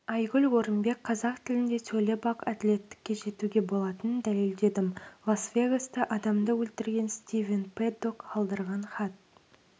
айгүл орынбек қазақ тілінде сөйлеп-ақ әділдікке жетуге болатынын дәлелдедім лас-вегаста адамды өлтірген стивен пэддок қалдырған хат